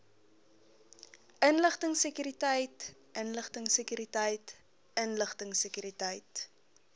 inligtingsekuriteit inligtingsekuriteit inligtingsekuriteit